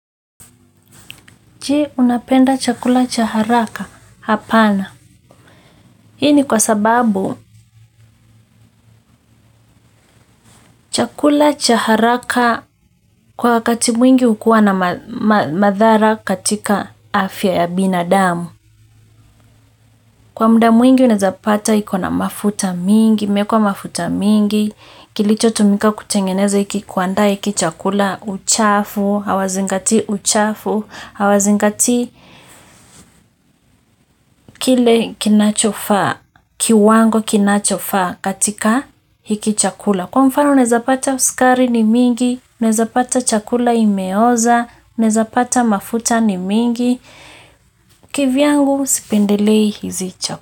Je, unapenda chakula cha haraka? Hapana. Hii ni kwa sababu, chakula cha haraka kwa wakati mwingi hukuwa na madhara katika afya ya binadamu. Kwa mda mwingi unaeza pata iko na mafuta mingi, imeekwa mafuta mingi, kilicho tumika kutengeneza hiki, kuandaa hiki chakula uchafu, hawazingatii uchafu, hawazingatii, kile kinachofaa, kiwango kinachofaa katika hiki chakula kwa mfano unaeza pata sukari ni mingi, unaeza pata chakula imeoza unaeza pata mafuta ni mingi, kivyangu sipendelei hizi chakula.